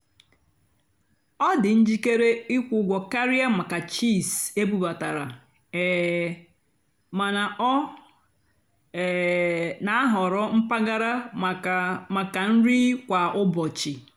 ọ́ dì́ njìkéré ị́kwụ́ ụ́gwọ́ kàrị́á màkà chíís ébúbátàrá um màná ọ́ um nà-àhọ̀rọ́ mpàgàrà màkà màkà nrì kwá ụ́bọ̀chị́.